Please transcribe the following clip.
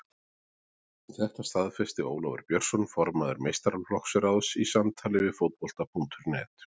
Þetta staðfesti Ólafur Björnsson formaður meistaraflokksráðs í samtali við Fótbolta.net.